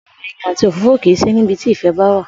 Ò̩rò̩ è̩yìn àti òfófó kì í sí ní ibi tí ìfè̩ bá wá